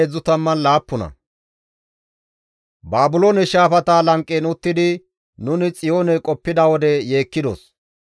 Baabiloone shaafata lanqen uttidi nuni Xiyoone qoppida wode yeekkidos.